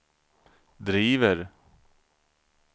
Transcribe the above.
driver